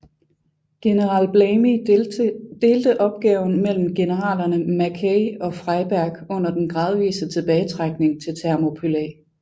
General Blamey delte opgaven mellem generalerne Mackay og Freyberg under den gradvise tilbagetrækning til Thermopylæ